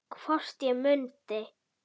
Hvort ég mundi.